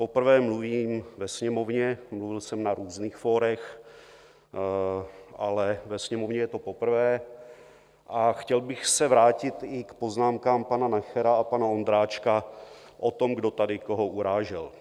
Poprvé mluvím ve Sněmovně - mluvil jsem na různých fórech, ale ve Sněmovně je to poprvé, a chtěl bych se vrátit i k poznámkám pana Nachera a pana Ondráčka o tom, kdo tady koho urážel.